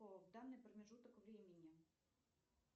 в данный промежуток времени